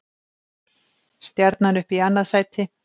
Stjarnan upp í annað sæti